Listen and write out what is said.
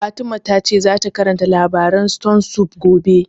Fatima ta ce za ta karanta labarin stone soup gobe